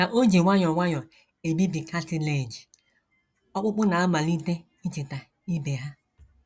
Ka o ji nwayọọ nwayọọ ebibi cartilage, ọkpụkpụ na - amalite ichita ibe ha.